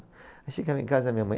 Aí chegava em casa, a minha mãe